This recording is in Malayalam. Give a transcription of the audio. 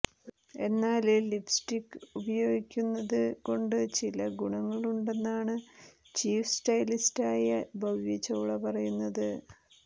എന്നാല് ലിപ്സ്റ്റിക്ക് ഉപയോഗിക്കുന്നത് കൊണ്ട് ചില ഗുണങ്ങളുണ്ടെന്നാണ് ചീഫ് സ്റ്റൈലിസ്റ്റായ ഭവ്യ ചൌള പറയുന്നത്